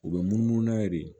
U bɛ munumunu n'a ye de